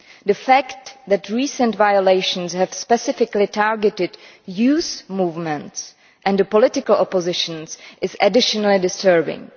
The fact that recent violations have specifically targeted youth movements and the political opposition is additionally disturbing.